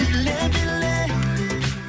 биле биле